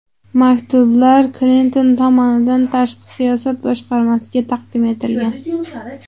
Maktublar Klinton tomonidan tashqi siyosat boshqarmasiga taqdim etilgan.